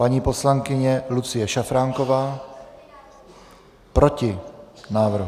Paní poslankyně Lucie Šafránková: Proti návrhu.